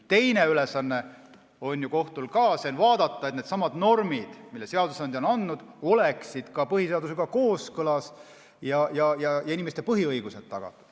Teine ülesanne on kohtul ka, vaadata, et needsamad normid, mis seadusandja on andnud, oleksid põhiseadusega kooskõlas ja inimeste põhiõigused oleksid tagatud.